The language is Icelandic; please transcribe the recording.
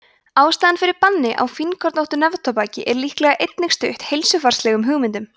ástæðan fyrir banni á fínkornóttu neftóbaki er líklega einnig stutt heilsufarslegum hugmyndum